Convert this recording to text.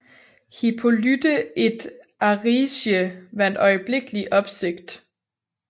Hippolyte et Aricie vakte øjeblikkelig opsigt